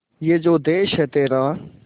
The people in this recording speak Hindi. ये जो देस है तेरा